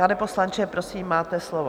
Pane poslanče, prosím, máte slovo.